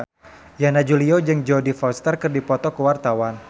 Yana Julio jeung Jodie Foster keur dipoto ku wartawan